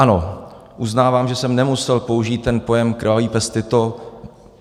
Ano, uznávám, že jsem nemusel použít ten pojem krvavý pes Tito.